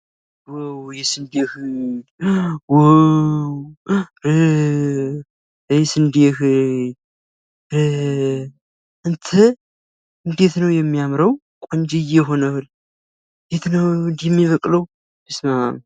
ዋው የስንዴ እህል! አንተ እንዴት ነው ሚያምረው! ቆንጅዬ ሆኗል እንዴት ነው እንደዚህ የሚበቅለው? በስመ አብ!!